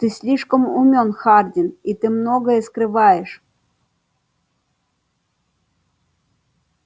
ты слишком умён хардин и ты многое скрываешь